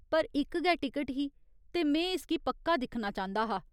पर इक गै टिकट ही, ते में इसगी पक्का दिक्खना चांह्दा हा।